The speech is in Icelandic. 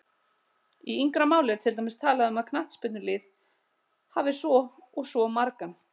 Í yngra máli er til dæmis talað um að knattspyrnulið hafi svo og svo margan